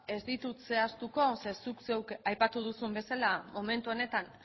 ez ditut zehaztuko zeren zuk zeuk aipatu duzun bezala momentu honetan